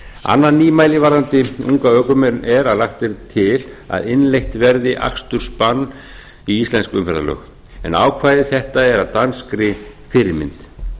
annað nýmæli varðandi unga ökumenn er að lagt er til að innleitt verði akstursbann í íslensk umferðarlög en ákvæði þetta er að danskri fyrirmynd